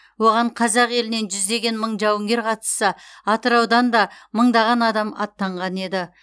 оған қазақ елінен жүздеген мың жауынгер қатысса атыраудан да мыңдаған адам аттанған еді